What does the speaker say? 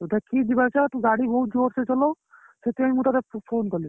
ତୁ ଦେଖିକି ଯିବା ଆସିବା ତୁ ଗାଡି ବହୁତ ଜୋରେସେ ଚଲଉ ସେଇଥିପାଇଁ ମୁ ତତେ phone କଲି